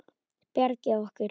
Bjargið okkur!